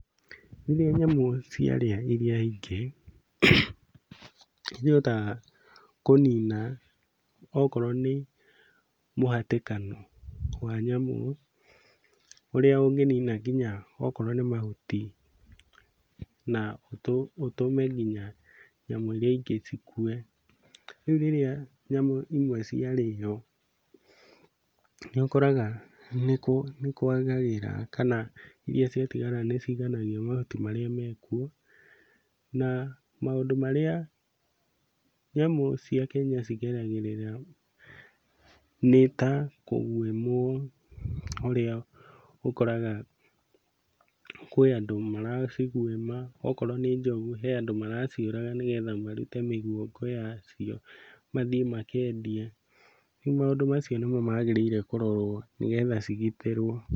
Rĩrĩa nyamũ ciarĩa iria ingĩ, nĩihotaga kũnina okorwo nĩ mũhatĩkano wa nyamũ ũrĩa ũngĩnina kinya okorwo nĩ mahuti na ũtũme nginya nyamũ iria ingĩ cikue. Rĩu rĩrĩa nyamũ imwe ciarĩo, nĩũkoraga nĩkwagagĩra kana iria ciatigara nĩciganagia mahuti marĩa mekuo, na maũndũ marĩa nyamũ cia Kenya cigeragĩrĩra nĩ ta kũgwĩmwo ũrĩa ũkoraga kwĩ andũ maracigwĩma, okorwo nĩ njogu he andũ maraciũraga nĩgetha marute mĩguongo yacio mathiĩ makendie. Rĩu maũndũ macio nĩmo magĩrĩire kũrorwo nĩgetha cigitĩrwo.